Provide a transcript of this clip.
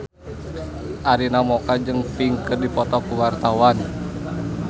Arina Mocca jeung Pink keur dipoto ku wartawan